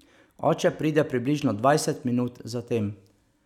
Oče pride približno dvajset minut za tem.